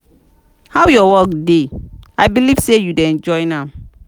how your work dey i believe say you dey enjoy am.